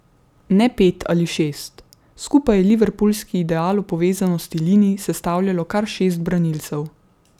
Ne pet ali šest, skupaj je liverpoolski ideal o povezanosti linij sestavljalo kar šest branilcev.